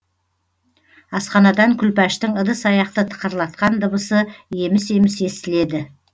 асханадан күлпаштың ыдыс аяқты тықырлатқан дыбысы еміс еміс естіледі